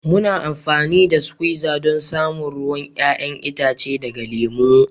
Muna amfani da suquiza don samun ruwan 'ya'yan itace daga lemu.